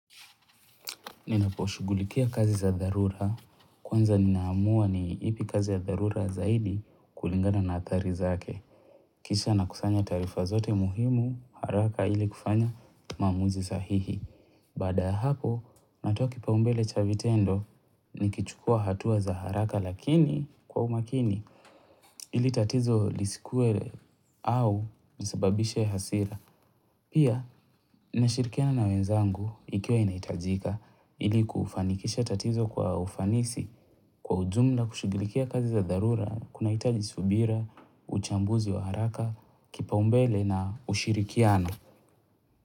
Ninaposhughulikia kazi za dharura kwanza ninaamua ni ipi kazi ya dharura zaidi kulingana na athari zake Kisha nakusanya taaarifa zote muhimu haraka ili kufanya maamuzi sahihi Baada ya hapo natoa kipaumbele cha vitendo nikichukua hatua za haraka lakini kwa umakini ili tatizo lisikuwe au nisababishe hasira Pia, nashirikiana na wenzangu ikiwa inahitajika ili kufanikisha tatizo kwa ufanisi kwa ujumla na kushughulikia kazi za dharura, kunahitaji subira, uchambuzi wa haraka, kipaumbele na ushirikiano.